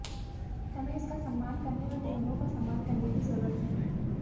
हमें इसका सम्मान करने और नियमों का सम्मान करने की जरूरत है